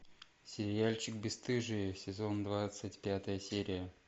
сериальчик бесстыжие сезон двадцать пятая серия